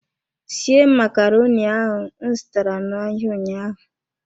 Sie macaroni ahu m zụtara n'ahịa ụnyaahụ.